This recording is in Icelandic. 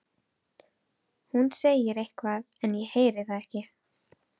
Hún segir eitthvað en ég heyri það ekki.